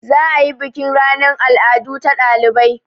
Za a yi bukin ranan al'adu ta ɗalibai.